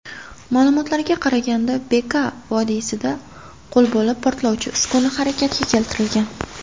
Ma’lumotlarga qaraganda, Beka’ vodiysida qo‘lbola portlovchi uskuna harakatga keltirilgan.